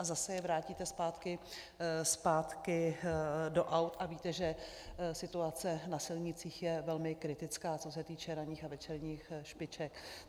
A zase je vrátíte zpátky do aut, a víte, že situace na silnicích je velmi kritická, co se týče ranních a večerních špiček.